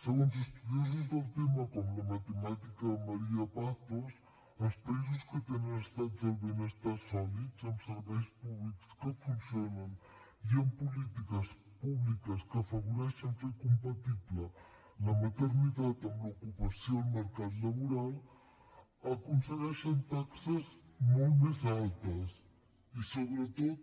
segons estudiosos del tema com la matemàtica maría pazos els països que tenen estats del benestar sòlids amb serveis públics que funcionen i amb polítiques públiques que afavoreixen fer compatible la maternitat amb l’ocupació al mercat laboral aconsegueixen taxes molt més altes i sobretot